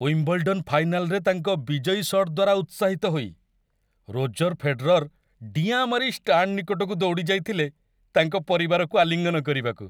Wimbledon ଫାଇନାଲ୍‌ରେ ତାଙ୍କ ବିଜୟୀ ସଟ୍ ଦ୍ୱାରା ଉତ୍ସାହିତ ହୋଇ, ରୋଜର୍ ଫେଡେରର୍ ଡିଆଁ ମାରି ଷ୍ଟାଣ୍ଡ ନିକଟକୁ ଦୌଡ଼ିଯାଇଥିଲେ ତାଙ୍କ ପରିବାରକୁ ଆଲିଙ୍ଗନ କରିବାକୁ।